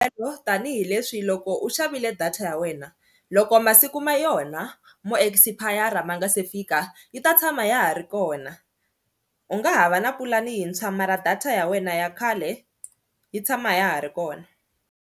Tanihi leswi loko u xavile data ya wena loko masiku ma yona mo expire ma nga se fika yi ta tshama hi ya ha ri kona, u nga ha va na pulani hi ntshwa mara data ya wena ya khale yi tshama ya ha ri kona.